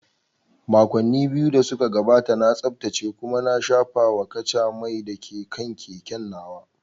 Makonni biyu da suka gabata, na tsaftace kuma na shafawa kaca mai da ke kan keken nawa.